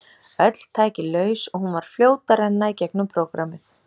Öll tæki laus og hún var fljót að renna í gegnum prógrammið.